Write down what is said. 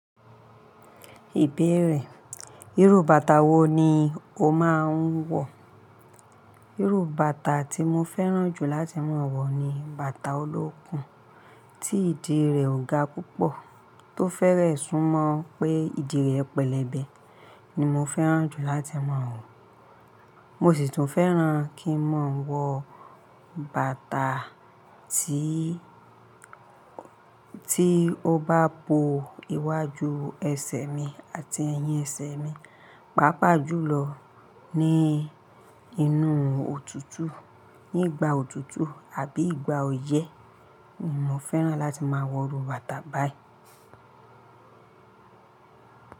Ìbéèrè: Irú bàtà wo ni o máa ń wọ̀? Irú bàtà tí mo fẹ́ràn jù láti máa wọ̀ ni bàtà olókùn, tí ìdí rẹ̀ ò ga púpọ̀. Tó fẹ́rẹ̀ẹ́ sún mọ́ pé ìdí rẹ̀ pẹlẹbẹ ni mo fẹ́ràn jù láti máa wọ̀. Mo sì tún fẹ́ràn kí ń máa ń wọ bàtà tí, tí ó bá bo iwájú ẹsẹ̀ mi àti ẹ̀yìn ẹsẹ̀ mi, pàápàá jùlọ ní inú òtútù, nígbà òtútù àbí ìgbà ọyẹ́ ni mo fẹ́ràn láti máa wọ irú bàtà báyìí.